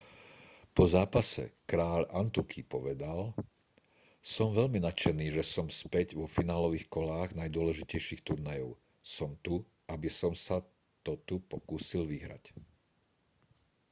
po zápase kráľ antuky povedal som veľmi nadšený že som späť vo finálových kolách najdôležitejších turnajov som tu aby som sa to tu pokúsil vyhrať